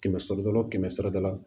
Kɛmɛ sara da o kɛmɛ sara da la